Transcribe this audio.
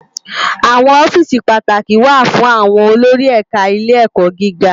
Awòn òfìsí pàátákí wá fún áwòn ólórí ẹká Ilé Èkò gigá